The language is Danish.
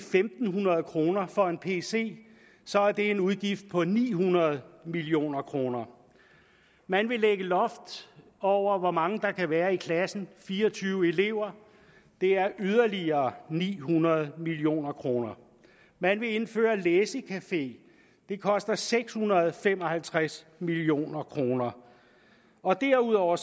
fem hundrede kroner for en pc så er det en udgift på ni hundrede million kroner man vil lægge loft over hvor mange der kan være i klassen fire og tyve elever det er yderligere ni hundrede million kroner man vil indføre læsecafé det koster seks hundrede og fem og halvtreds million kroner derudover